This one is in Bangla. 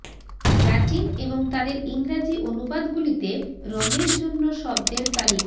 ল্যাটিন এবং তাদের ইংরাজী অনুবাদগুলিতে রঙের জন্য শব্দের তালিকা